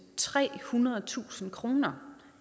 trehundredetusind kroner